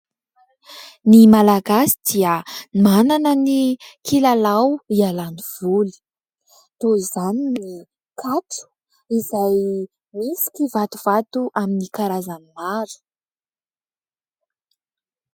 Ny Malagasy dia manana ny kilalao hialany voly toy izany ny katro izay misy kivatovato amin'ny karazany maro.